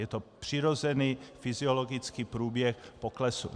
Je to přirozený fyziologický průběh poklesu.